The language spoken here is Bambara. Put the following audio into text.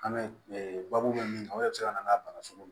An bɛ baabu bɛ min kan o yɛrɛ bɛ se ka na n'a bana sugu